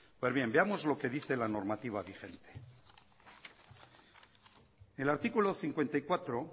pues bien veamos lo que dice la normativa vigente el artículo cincuenta y cuatro